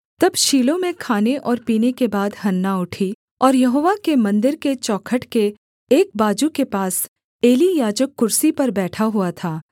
तब शीलो में खाने और पीने के बाद हन्ना उठी और यहोवा के मन्दिर के चौखट के एक बाजू के पास एली याजक कुर्सी पर बैठा हुआ था